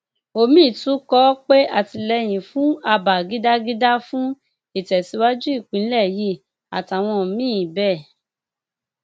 omiín tún kọ ọ pé atìlẹyìn fún abba gidagida fún ìtẹsíwájú ìpínlẹ yìí àtàwọn míín bẹẹ